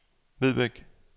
Vedbæk